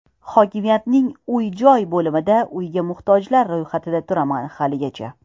Hokimiyatning uy-joy bo‘limida uyga muhtojlar ro‘yxatida turaman haligacha.